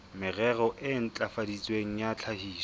merero e ntlafaditsweng ya tlhahiso